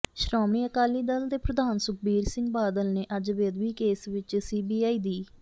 ਸ੍ਰੋਮਣੀ ਅਕਾਲੀ ਦਲ ਦੇ ਪ੍ਰਧਾਨ ਸੁਖਬੀਰ ਸਿੰਘ ਬਾਦਲ ਨੇ ਅੱਜ ਬੇਅਦਬੀ ਕੇਸ ਵਿਚ ਸੀਬੀਆਈ ਦੀ